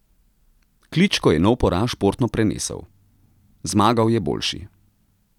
Kličko je nov poraz športno prenesel: 'Zmagal je boljši.